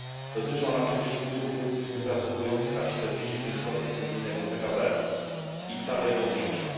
Dotyczy ona przecież usług wypracowujących aż 45 unijnego PKB i stale je powiększa.